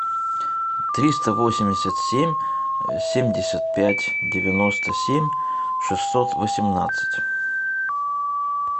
триста восемьдесят семь семьдесят пять девяносто семь шестьсот восемнадцать